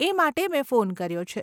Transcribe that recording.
એ માટે મેં ફોન કર્યો છે.